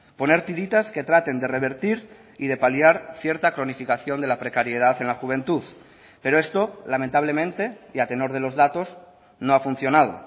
poner tiritas que traten de revertir y de paliar cierta cronificación de la precariedad en la juventud pero esto lamentablemente y a tenor de los datos no ha funcionado